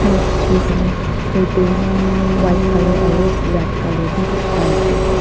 piche khan te curting white colour aru red colour bhi dekhi pai ase.